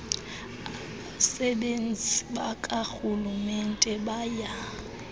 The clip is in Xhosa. abasebenzi bakarhulumente baya